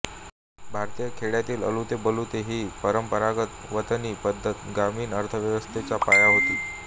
भारतीय खेड्यांतील अलुतेबलुते ही परंपरागत वतनी पद्घत गामीण अर्थव्यवस्थेचा पाया होती